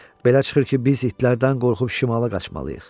Belə çıxır ki, biz itlərdən qorxub şimala qaçmalıyıq.